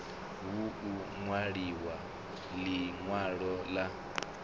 hu u nwaliwe linwalo la